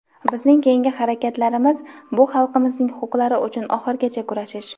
Bizning keyingi harakatlarimi – bu xalqimizning huquqlari uchun oxirigacha kurashish.